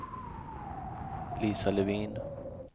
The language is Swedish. Lisa Levin